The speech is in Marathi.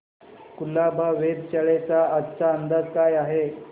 कुलाबा वेधशाळेचा आजचा अंदाज काय आहे